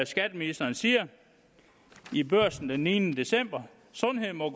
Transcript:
skatteministeren siger i børsen den niende december sundhed må